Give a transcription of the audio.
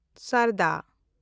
ᱥᱟᱨᱫᱟ